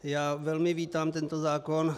Já velmi vítám tento zákon.